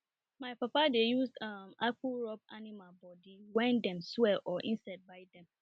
my papa dey use um akpu rub animal body when dem swell or insect bite dem